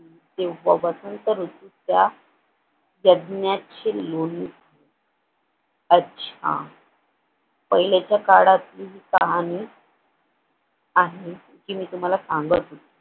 तेव्हापासून तर त्या यज्ञाची लोणी अच्छा पहिल्याच्या काळातील कहाणी आहे ती मी तुम्हाला सांगत